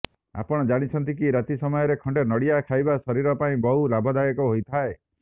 ଆପଣ ଜାଣିଛନ୍ତି କି ରାତି ସମୟରେ ଖଣ୍ଡେ ନଡ଼ିଆ ଖାଇବା ଶରୀର ପାଇଁ ବହୁ ଲାଭଦାୟକ ହୋଇଥାଏ